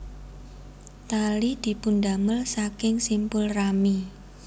Tali dipundamel saking simpul rami